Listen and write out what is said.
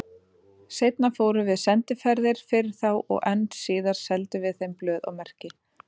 Seinna fórum við sendiferðir fyrir þá og enn síðar seldum við þeim blöð og merki.